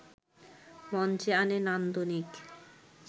মঞ্চে আনে নান্দনিক